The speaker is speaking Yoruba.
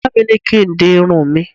Ìyá mi ní kín di irun mi